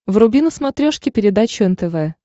вруби на смотрешке передачу нтв